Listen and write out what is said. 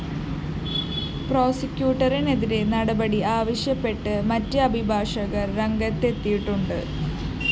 പ്രോസിക്യൂട്ടറിനെതിരെ നടപടി ആവശ്യപ്പെട്ട് മറ്റ് അഭിഭാഷകര്‍ രംഗത്തെത്തിയിട്ടുണ്ട്